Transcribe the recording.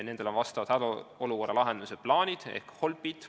Nendel on olemas hädaolukorra lahendamise plaanid ehk HOLP-id.